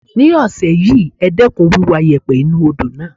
This week, reduce the dredging of the river.